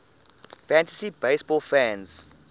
fantasy baseball fans